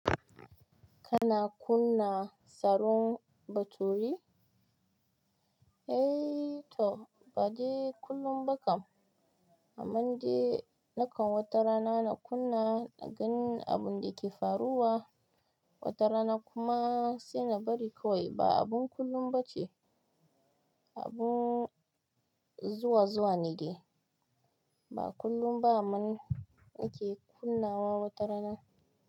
Kana kunna tsaron baturi? Eh to ba dai kullum ba kam, amma dai na kan wata rana na kunna na gan abun da ke faruwa, wata rana kuma sai na bari kawai. Ba abun kullum ba ce, abun zuwa zuwa ne dai. Ba kullum ba man nake kunnawa wata rana.